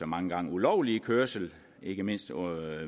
mange gange ulovlige kørsel ikke mindst